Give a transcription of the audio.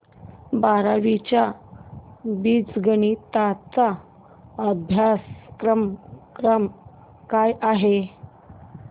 बारावी चा बीजगणिता चा अभ्यासक्रम काय आहे